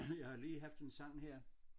Jeg har lige haft en sang her